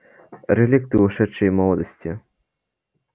реликты ушедшей молодости